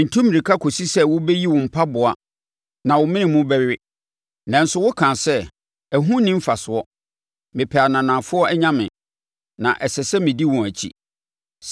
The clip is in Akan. Ntu mmirika kɔsi sɛ wobɛyi wo mpaboa na wo mene mu bɛwe. Nanso wokaa sɛ, ‘Ɛho nni mfasoɔ! Mepɛ ananafoɔ anyame, na ɛsɛ sɛ medi wɔn akyi.’